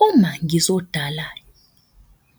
Uma ngizodala